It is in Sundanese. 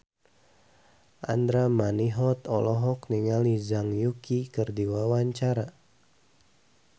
Andra Manihot olohok ningali Zhang Yuqi keur diwawancara